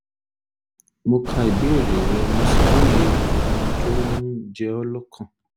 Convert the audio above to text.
mo ka ìbéèrè rẹ mo sì lóye ohun tó ń jẹ ọ́ lọ́kàn